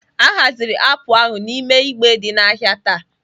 A haziri apụl ahụ n'ime igbe dị n'ahịa taa.